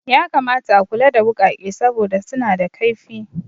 Ya kamata a kula da wuƙake saboda suna da kaifi